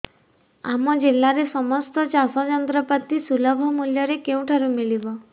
ଆମ ଜିଲ୍ଲାରେ ସମସ୍ତ ଚାଷ ଯନ୍ତ୍ରପାତି ସୁଲଭ ମୁଲ୍ଯରେ କେଉଁଠାରୁ ମିଳିବ